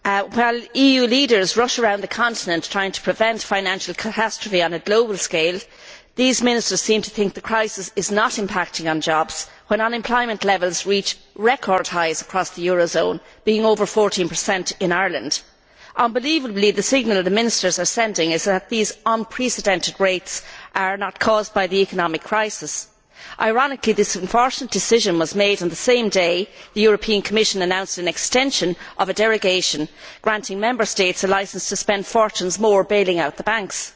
While EU leaders rush around the continent trying to prevent financial catastrophe on a global scale, these ministers seem to think the crisis is not impacting on jobs when unemployment levels reach record highs across the eurozone, being over 14 in Ireland. Unbelievably, the signal the ministers are sending is that these unprecedented rates are not caused by the economic crisis. Ironically, this unfortunate decision was made on the same day the Commission announced an extension of a derogation granting Member States a licence to spend fortunes more bailing out the banks.